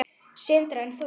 Sindri: En þú?